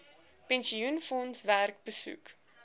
pensioenfondse werk besoek